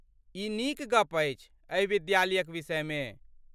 ई नीक गप्प अछि एहि विद्यालयक विषयमे।